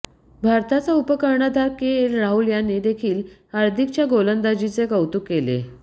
भारताचा उपकर्णधार केएल राहुल याने देखील हार्दिकच्या गोलंदाजीचे कौतुक केले